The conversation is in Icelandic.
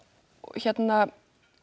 hérna